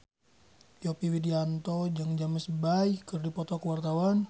Yovie Widianto jeung James Bay keur dipoto ku wartawan